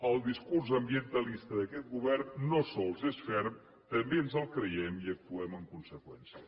el discurs ambientalista d’aquest govern no sols és ferm també ens el creiem i actuem en conseqüència